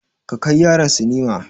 Ka kai yaran sinima.